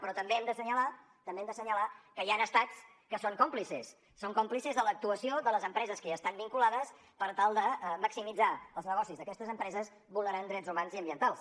però també hem d’assenyalar que hi han estats que en són còmplices són còmplices de l’actuació de les empreses que hi estan vinculades per tal de maximitzar els negocis d’aquestes empreses vulnerant drets humans i ambientals